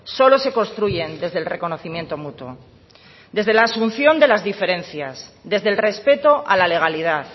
solo se construyen desde el reconocimiento mutuo desde la asunción de las diferencias desde el respeto a la legalidad